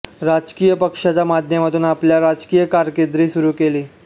राजकीय पक्षाच्या माध्यमातून आपल्या राजकीय कारकीर्द सुरू केली